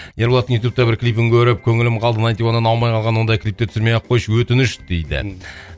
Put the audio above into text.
ерболаттың ютубта бір клипін көріп көңілім қалды найнти уаннан аумай қалған ондай клипті түсірмей ақ қойшы өтініш дейді